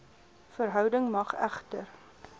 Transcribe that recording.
verhouding mag egter